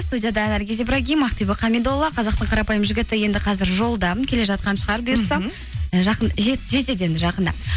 студияда наргиз ибрагим ақбибі хамидолла қазақтың қарапайым жігіті енді қазір жолда келе жатқан шығар бұйырса і жетеді енді жақында